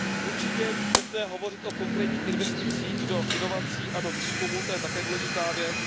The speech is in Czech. Určitě je nutné hovořit o konkrétních investicích do inovací a do výzkumu, to je také důležitá věc.